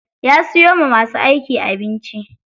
Ya siyo wa masu aiki abinci.